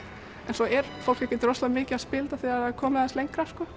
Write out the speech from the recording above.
svo er fólk ekkert rosalega mikið að spila þetta þegar það er komið aðeins lengra sko